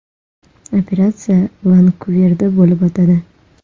Operatsiya Vankuverda bo‘lib o‘tadi.